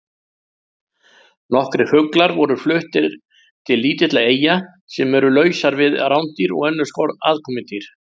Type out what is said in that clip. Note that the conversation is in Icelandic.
Nokkrir fuglar voru fluttir til lítilla eyja sem eru lausar við rándýr og önnur aðkomudýr.